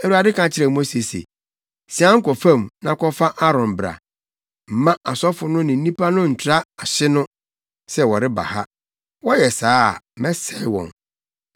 Awurade ka kyerɛɛ Mose se, “Sian kɔ fam na kɔfa Aaron bra. Mma asɔfo no ne nnipa no ntra ahye no sɛ wɔreba ha. Wɔyɛ saa a, mɛsɛe wɔn.”